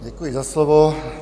Děkuji za slovo.